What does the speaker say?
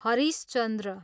Harish Chandra